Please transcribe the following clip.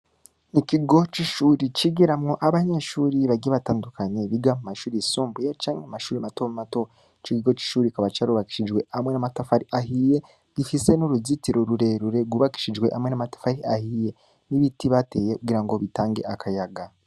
Ikigo c'ishuri, cigiramwo abanyeshuri bagiye batandukanye, biga mu mashuri yisumbuye, canke mu mashuri mato mato; ico kigo c'ishuri kikaba carubakishijwe hamwe n'amatafari ahiye, gifise n'uruzitiro rurerure, rwubakishijwe hamwe n'amatafari ahiye, n'ibiti bateye kugira ngo bitange akayaga.